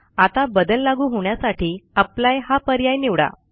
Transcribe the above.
आता बदल लागू होण्यासाठी अप्लाय हा पर्याय निवडा